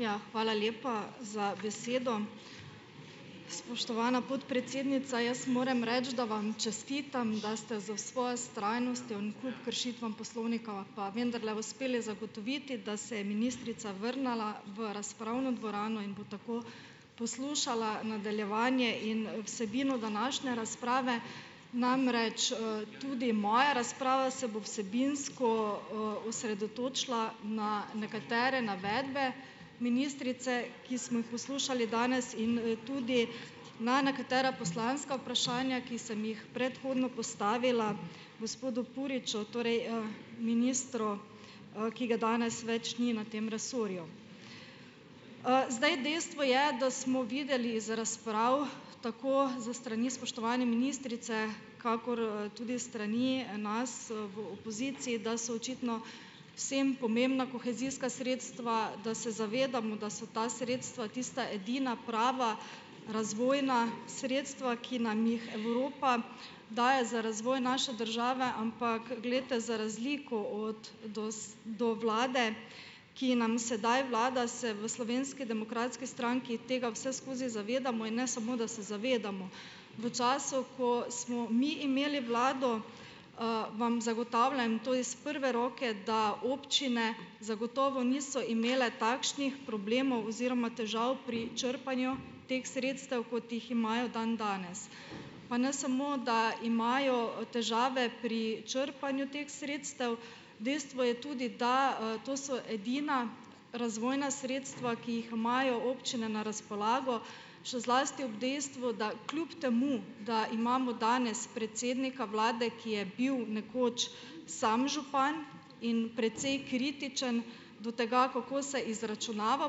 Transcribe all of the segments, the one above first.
Ja. Hvala lepa za besedo. Spoštovana podpredsednica, jaz moram reči, da vam čestitam, da ste za svojo vztrajnostjo in kup kršitvam poslovnika, pa vendarle uspeli zagotoviti, da se je ministrica vrnila v razpravno dvorano in bo tako poslušala nadaljevanje in vsebino današnje razprave. Namreč tudi moja razprava se bo vsebinsko osredotočila na nekatere navedbe ministrice, ki smo jih poslušali danes, in tudi na nekatera poslanska vprašanja, ki sem jih predhodno postavila gospodu Puriču. Torej ministru, ki ga danes več ni na tem resorju. Zdaj, dejstvo je, da smo videli z razprav, tako s strani spoštovane ministrice kakor tudi s strani nas v opoziciji, da so očitno vsem pomembna kohezijska sredstva, da se zavedamo, da so ta sredstva tista edina prava razvojna sredstva, ki nam jih Evropa daje za razvoj naše države, ampak, glejte, za razliko od do vlade, ki nam sedaj vlada, se v Slovenski demokratski stranki tega vseskozi zavedamo in ne samo, da se zavedamo, v času, ko smo mi imeli vlado, vam zagotavljam to iz prve roke, da občine zagotovo niso imele takšnih problemov oziroma težav pri črpanju teh sredstev, kot jih imajo dandanes. Pa ne samo da imajo težave pri črpanju teh sredstev, dejstvo je tudi, da to so edina razvojna sredstva, ki jih imajo občine na razpolago, še zlasti ob dejstvu, da kljub temu, da imamo danes predsednika vlade, ki je bil nekoč sam župan in precej kritičen do tega, kako se izračunava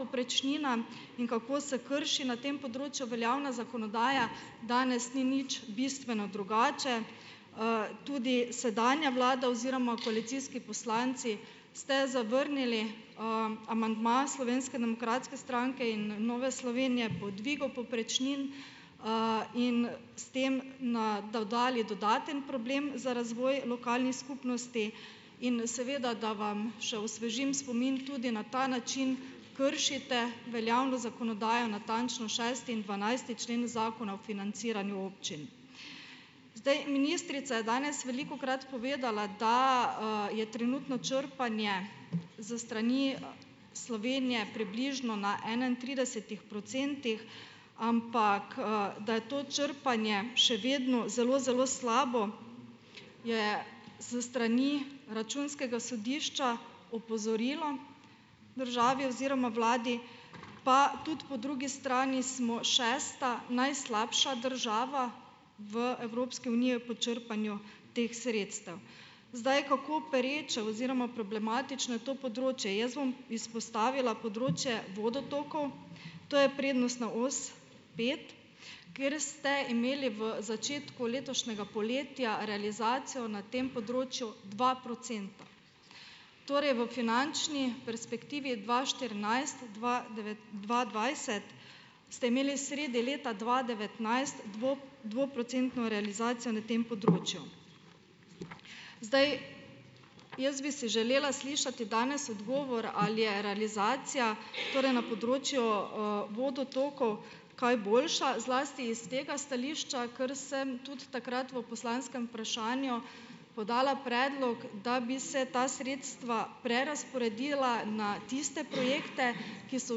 povprečnina in kako se krši na tem področju veljavna zakonodaja, danes ni nič bistveno drugače. Tudi sedanja vlada oziroma koalicijski poslanci ste zavrnili amandma Slovenske demokratske stranke in Nove Slovenije po dvigu povprečnin in s tem na dodali dodaten problem za razvoj lokalnih skupnosti in seveda, da vam še osvežim spomin, tudi na ta način kršite veljavno zakonodajo, natančno šesti in dvanajsti člen Zakona o financiranju občin. Zdaj, ministrica je danes velikokrat povedala, da je trenutno črpanje s strani Slovenije približno na enaintridesetih procentih, ampak da je to črpanje še vedno zelo, zelo slabo, je s strani Računskega sodišča opozorilo državi oziroma vladi, pa tudi po drugi strani smo šesta najslabša država v Evropski uniji po črpanju teh sredstev. Zdaj, kako pereče oziroma problematično je to področje, jaz bom izpostavila področje vodotokov, to je prednostna os pet, kjer ste imeli v začetku letošnjega poletja realizacijo na tem področju dva procenta. Torej v finančni perspektivi dva štirinajst dva dva dvajset, ste imeli sredi leta dva devetnajst dvo dvoprocentno realizacijo na tem področju. Zdaj ... Jaz bi si želela slišati danes odgovor, ali je realizacija, torej na področju vodotokov, kaj boljša, zlasti iz tega stališča, ker sem, tudi takrat, v poslanskem vprašanju, podala predlog, da bi se ta sredstva prerazporedila na tiste projekte, ki so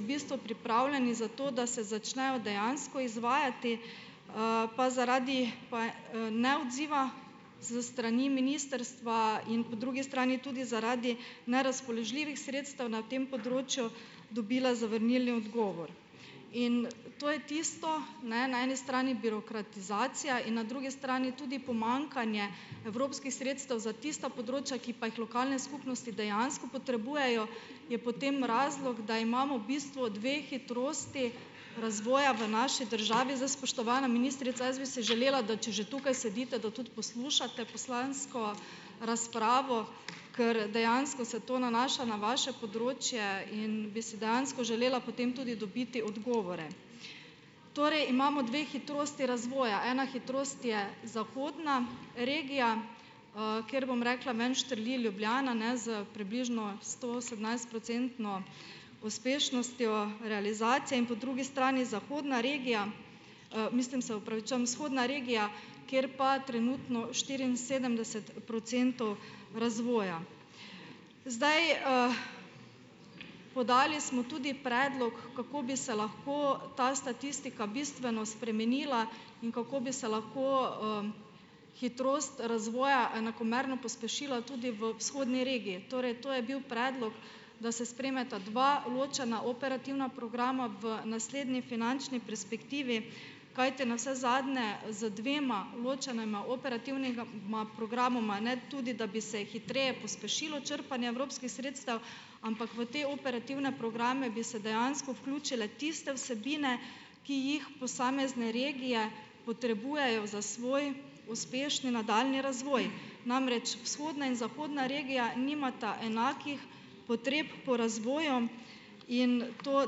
v bistvu pripravljeni za to, da se začnejo dejansko izvajati, pa zaradi neodziva s strani ministrstva in po drugi strani tudi zaradi nerazpoložljivih sredstev na tem področju dobila zavrnilni odgovor. In to je tisto, ne, na eni strani birokratizacija in na drugi strani tudi pomanjkanje evropskih sredstev za tista področja, ki pa jih lokalne skupnosti dejansko potrebujejo, je potem razlog, da imamo v bistvu dve hitrosti razvoja v naši državi. Zdaj, spoštovana ministrica, jaz bi si želela, da če že tukaj sedite, da tudi poslušate poslansko razpravo, ker dejansko se to nanaša na vaše področje in bi si dejansko želela potem tudi dobiti odgovore. Torej, imamo dve hitrosti razvoja. Ena hitrost je zahodna regija, kjer, bom rekla, ven štrli Ljubljana, s približno stoosemnajstprocentno uspešnostjo realizacije in po drugi strani zahodna regija, mislim, se opravičujem, vzhodna regija, kjer pa trenutno štiriinsedemdeset procentov razvoja. Zdaj ... Podali smo tudi predlog, kako bi se lahko ta statistika bistveno spremenila in kako bi se lahko hitrost razvoja enakomerno pospešila tudi v vzhodni regiji. Torej, to je bil predlog, da se sprejmeta dva ločena operativna programa v naslednji finančni perspektivi, kajti navsezadnje z dvema ločenima operativnima programoma, ne, tudi, da bi hitreje pospešilo črpanje evropskih sredstev, ampak v te operativne programe bi se dejansko vključile tiste vsebine, ki jih posamezne regije potrebujejo za svoj uspešni nadaljnji razvoj. Namreč, vzhodna in zahodna regija nimata enakih potreb po razvoju in to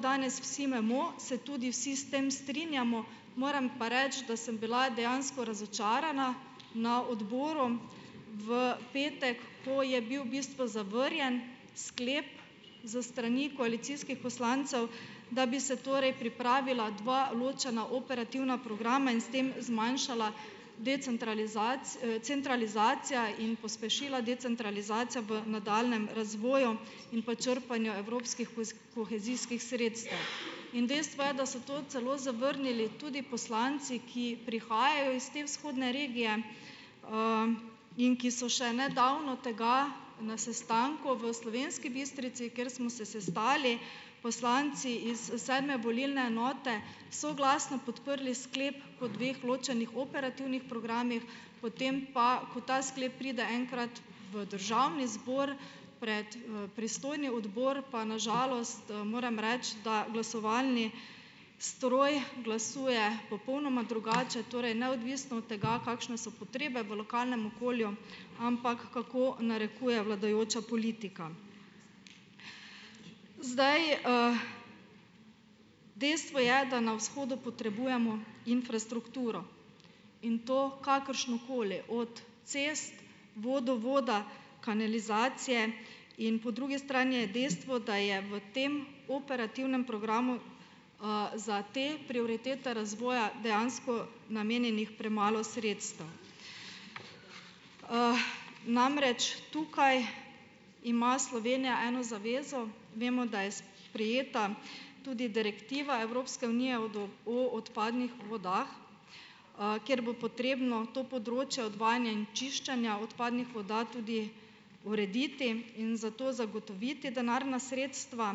danes vsi vemo, se tudi vsi s tem strinjamo. Moram pa reči, da sem bila dejansko razočarana na odboru v petek, ko je bil v bistvu zavrnjen sklep s strani koalicijskih poslancev, da bi se torej pripravila dva ločena operativna programa in s tem zmanjšala centralizacija in pospešila decentralizacijo v nadaljnjem razvoju in pa črpanju evropskih kohezijskih sredstev. In dejstvo je, da so to celo zavrnili tudi poslanci, ki prihajajo iz te vzhodne regije in ki so še nedavno tega na sestanku v Slovenski Bistrici, kjer smo se sestali poslanci iz sedme volilne enote, soglasno podprli sklep o dveh ločenih operativnih programih. Potem pa, ko ta sklep pride enkrat v Državni zbor pred pristojni odbor, pa na žalost moram reči, da glasovalni stroj glasuje popolnoma drugače, torej neodvisno od tega, kakšne so potrebe v lokalnem okolju, ampak kako narekuje vladajoča politika. Zdaj dejstvo je, da na vzhodu potrebujemo infrastrukturo. In to kakršno koli, od cest, vodovoda, kanalizacije. In po drugi strani je dejstvo, da je v tem operativnem programu za te prioritete razvoja dejansko namenjenih premalo sredstev. Namreč, tukaj ima Slovenija eno zavezo, vemo, da je sprejeta tudi direktiva Evropske unije o odpadnih vodah, kjer bo potrebno to področje odvajanja in čiščenja odpadnih voda tudi urediti in za to zagotoviti denarna sredstva.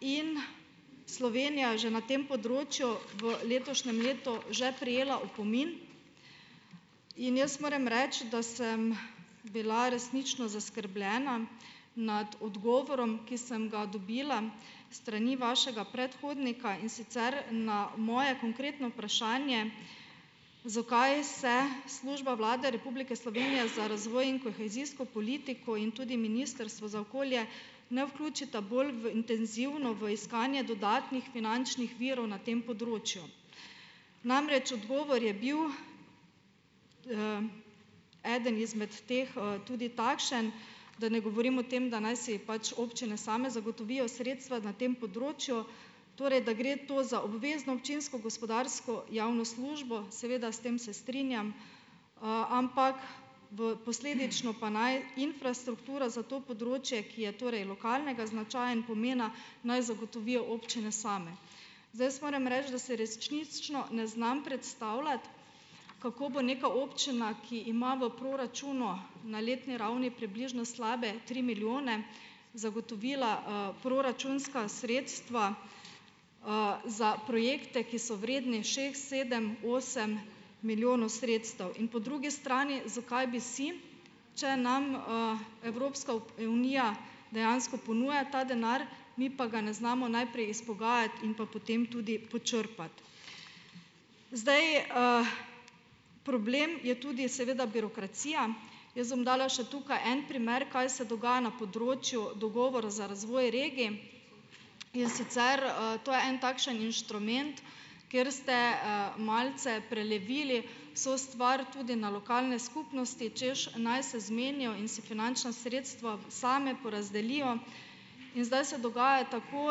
In Slovenija je že na tem področju v letošnjem letu že prejela opomin. In jaz moram reči, da sem bila resnično zaskrbljena nad odgovorom, ki sem ga dobila strani vašega predhodnika. In sicer na moje konkretno vprašanje: "Zakaj se služba Vlade Republike Slovenije za razvoj in kohezijsko politiko in tudi Ministrstvo za okolje ne vključita bolj v intenzivno v iskanje dodatnih finančnih virov na tem področju?" Namreč, odgovor je bil, eden izmed teh tudi takšen, da ne govorim o tem, da naj si pač občine same zagotovijo sredstva na tem področju, torej da gre to za obvezno občinsko gospodarsko javno službo. Seveda, s tem se strinjam, ampak v posledično pa naj infrastrukturo za to področje, ki je torej lokalnega značaja in pomena, naj zagotovijo občine same. Zdaj, jaz moram reči, da si resnično ne znam predstavljati, kako bo neka občina, ki ima v proračunu na letni ravni približno slabe tri milijone, zagotovila proračunska sredstva za projekte, ki so vredni šest, sedem, osem milijonov sredstev. In po drugi strani, zakaj bi si, če nam Evropska unija dejansko ponuja ta denar, mi pa ga ne znamo najprej izpogajati in pa potem tudi počrpati? Zdaj problem je tudi seveda birokracija. Jaz bom dala še tukaj en primer, kaj se dogaja na področju dogovora za razvoj regij. In sicer to je en takšen inštrument, kjer ste malce prelevili vso stvar tudi na lokalne skupnosti, hočeš, naj se zmenijo in si finančna sredstva same porazdelijo. In zdaj se dogaja tako,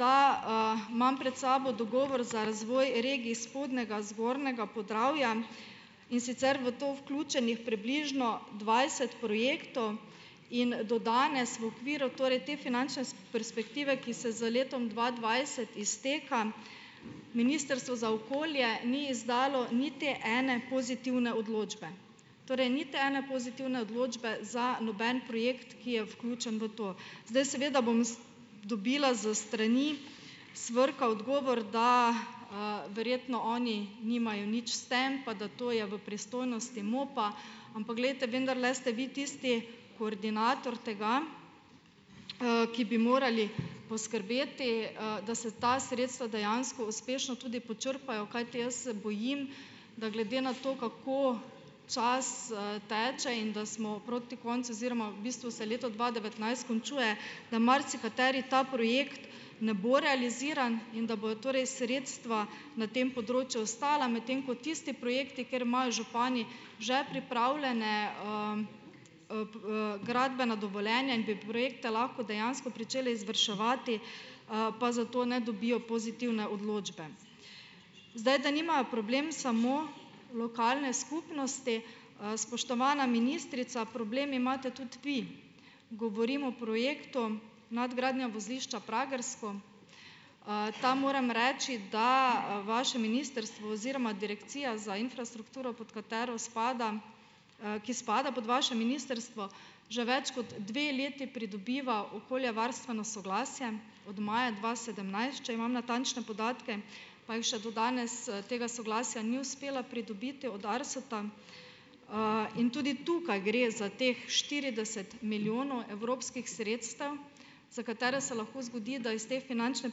da imam pred sabo dogovor za razvoj regij Spodnjega, Zgornjega Podravja. In sicer v to vključenih približno dvajset projektov in do danes, v okviru torej te finančne perspektive, ki se z letom dva dvajset izteka, Ministrstvo za okolje ni izdalo niti ene pozitivne odločbe. Torej niti ene pozitivne odločbe za noben projekt, ki je vključen v to. Zdaj, seveda bom dobila s strani SVRK-a odgovor, da verjetno oni nimajo nič s tem, pa da to je v pristojnosti MOP-a. Ampak glejte, vendarle ste vi tisti koordinator tega, ki bi morali poskrbeti , da se ta sredstva dejansko uspešno tudi počrpajo. Kajti jaz se bojim, da glede na to, kako čas teče in da smo proti koncu oziroma v bistvu se leto dva devetnajst končuje, da marsikateri ta projekt ne bo realiziran in da bodo torej sredstva na tem področju ostala. Medtem ko tisti projekti, kjer imajo župani že pripravljene gradbena dovoljenja in bi projekte lahko dejansko pričeli izvrševati, pa za to ne dobijo pozitivne odločbe. Zdaj, da nimajo problem samo lokalne skupnosti, spoštovana ministrica, problem imate tudi vi. Govorim o projektu nadgradnja vozišča Pragersko. Tam moram reči, da vaše ministrstvo oziroma Direkcija za infrastrukturo, pod katero spada, ki spada pod vaše ministrstvo, že več kot dve leti pridobiva okoljevarstveno soglasje od maja dva sedemnajst, če imam natančne podatke, pa jim še do danes tega soglasja ni uspelo pridobiti od ARSA, in tudi tukaj gre za teh štirideset milijonov evropskih sredstev, za katere se lahko zgodi, da iz te finančne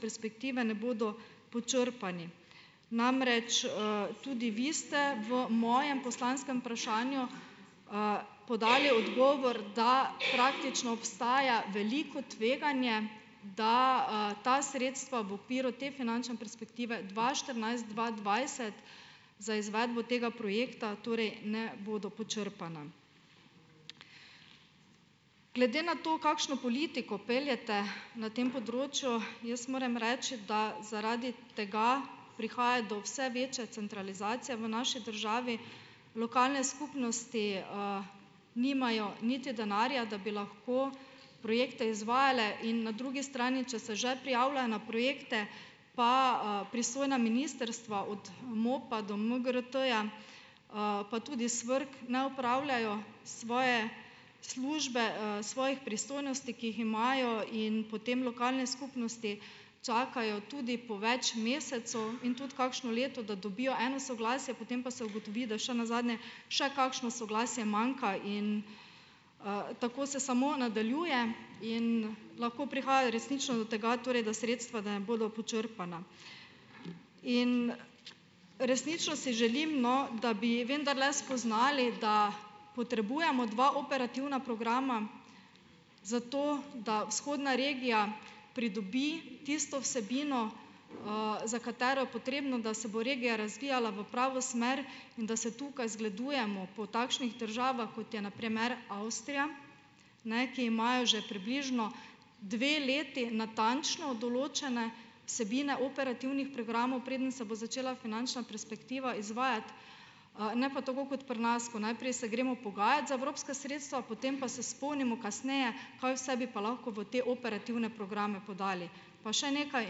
perspektive ne bodo počrpani. Namreč tudi vi ste v mojem poslanskem vprašanju podali odgovor, da praktično obstaja veliko tveganje, da ta sredstva v piru te finančne perspektive dva štirinajst dva dvajset za izvedbo tega projekta torej ne bodo počrpana. Glede na to, kakšno politiko peljete na tem področju, jaz moram reči, da zaradi tega prihaja do vse večje centralizacije v naši državi. V lokalne skupnosti nimajo niti denarja, da bi lahko projekte izvajale, in na drugi strani, če se že prijavljajo na projekte, pa pristojna ministrstva od MOP-a do MGRT-ja, pa tudi SVRK ne opravljajo svoje službe, svojih pristojnosti, ki jih imajo, in potem lokalne skupnosti čakajo tudi po več mesecev in tudi kakšno leto, da dobijo eno soglasje, potem pa se ugotovi, da še nazadnje še kakšno soglasje manjka in tako se samo nadaljuje in lahko prihaja resnično do tega torej, da sredstva ne bodo počrpana in resnično si želim, no, da bi vendarle spoznali, da potrebujemo dva operativna programa, zato da vzhodna regija pridobi tisto vsebino, za katero je potrebno, da se bo regija razvijala v pravo smer, in da se tukaj zgledujemo po takšnih državah, kot je na primer Avstrija, ne, ki imajo že približno dve leti natančno določene vsebine operativnih programov, preden se bo začela finančna perspektiva izvajati. Ne pa tako kot pri nas, ko najprej se gremo pogajat za evropska sredstva, potem pa se spomnimo kasneje, kaj vse bi pa lahko v te operativne programe podali. Pa še nekaj,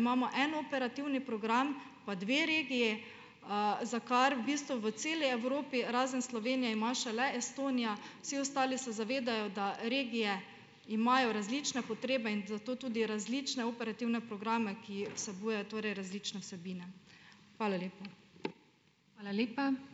imamo en operativni program pa dve regiji, za kar v bistvu v celi Evropi razen Slovenije ima šele Estonija, vsi ostali se zavedajo, da regije imajo različne potrebe in za to tudi različne operativne programe, ki vsebujejo torej različne vsebine. Hvala lepa.